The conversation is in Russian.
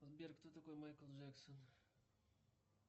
сбер кто такой майкл джексон